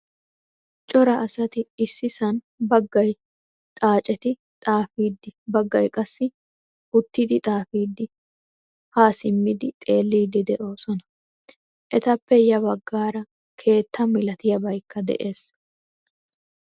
Cora asati issisan baggay xaaccetti xaafidi, baggaay qassi uttidi xaafidi ha simmidi xeelidi deosona. Ettappe ya baggaara keettaa malatiyabaykka de'ees.